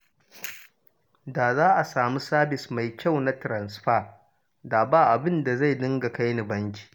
Da za a samu sabis mai kyau na tiransifa, da ba abin da zai dinga kai ni banki